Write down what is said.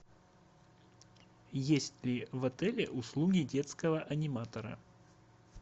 есть ли в отеле услуги детского аниматора